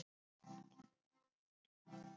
Nei muldraði Stefán og horfði niður.